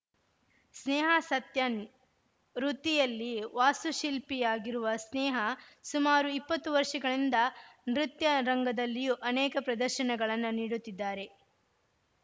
ಸ್ನೇಹಾ ಸತ್ಯನ್‌ ವೃತ್ತಿಯಲ್ಲಿ ವಾಸ್ತು ಶಿಲ್ಪಿಯಾಗಿರುವ ಸ್ನೇಹಾ ಸುಮಾರು ಇಪ್ಪತ್ತು ವರ್ಷಗಳಿಂದ ನೃತ್ಯ ರಂಗದಲ್ಲಿಯೂ ಅನೇಕ ಪ್ರದರ್ಶನಗಳನ್ನ ನೀಡುತಿದ್ದಾರೆ